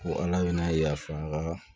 Ko ala bɛ n'a ye yafa